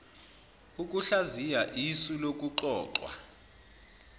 ukuhlaziya isu lokuxoxwa